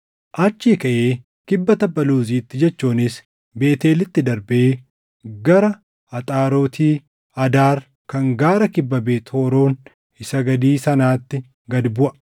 Achii kaʼee kibba tabba Luuzitti jechuunis Beetʼeelitti darbee gara Axaaroti Adaar kan gaara kibba Beet Horoon isa gadii sanaatti gad buʼa.